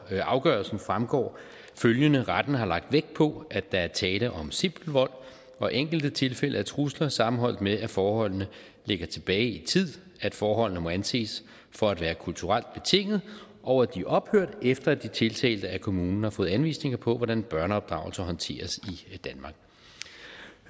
afgørelsen fremgår at retten har lagt vægt på at der var tale om simpel vold og enkelte tilfælde af trusler sammenholdt med at forholdene lå tilbage i tid at forholdene måtte anses for at være kulturelt betingede og at de ophørte efter at de tiltalte af kommunen havde fået anvisninger på hvordan børneopdragelse håndteres